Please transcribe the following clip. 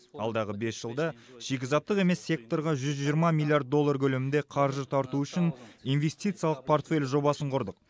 алдағы бес жылда шикізаттық емес секторға жүз жиырма миллиард доллар көлемінде қаржы тарту үшін инвестициялық портфель жобасын құрдық